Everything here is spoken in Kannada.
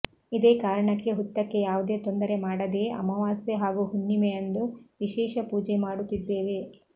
ಇದೇ ಕಾರಣಕ್ಕೆ ಹುತ್ತಕ್ಕೆ ಯಾವುದೇ ತೊಂದರೆ ಮಾಡದೇ ಅಮಾವಾಸ್ಯೆ ಹಾಗೂ ಹುಣ್ಣಿಮೆಯಂದು ವಿಶೇಷ ಪೂಜೆ ಮಾಡುತ್ತಿದ್ದೇವೆ